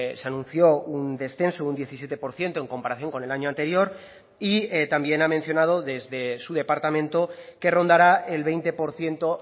se anunció un descenso de un diecisiete por ciento en comparación con el año anterior y también ha mencionado desde su departamento que rondará el veinte por ciento